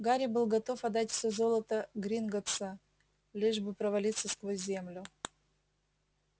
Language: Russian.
гарри был готов отдать все золото гринготтса лишь бы провалиться сквозь землю